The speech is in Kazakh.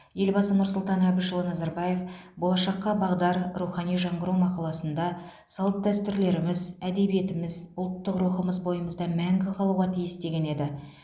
елбасы нұрсұлтан әбішұлы назарбаев болашаққа бағдар рухани жаңғыру мақаласында салт дәстүрлеріміз әдебиетіміз ұлттық рухымыз бойымызда мәңгі қалуға тиіс деген еді